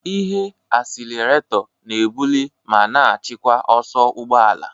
Ihe asilerato na-ebuli ma na-achịkwa ọsọ ụgbọ ala.